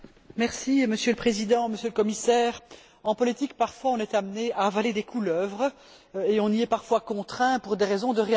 Monsieur le Président, Monsieur le Commissaire, en politique parfois, on est amené à avaler des couleuvres et on y est parfois contraint pour des raisons de réalisme.